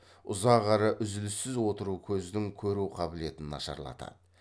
ұзақ әрі үзіліссіз отыру көздің көру қабілетін нашарлатады